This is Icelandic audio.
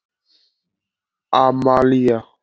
Amalía